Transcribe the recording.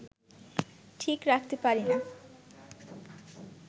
ঠিক রাখতে পারি না